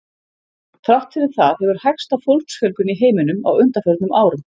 Þrátt fyrir það hefur hægst á fólksfjölgun í heiminum á undanförnum árum.